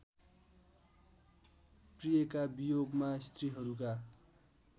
प्रियका वियोगमा स्त्रीहरूका